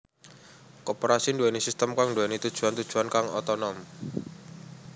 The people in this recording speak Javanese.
Koperasi nduwèni sistem kang nduwèni tujuwan tujuwan kang otonom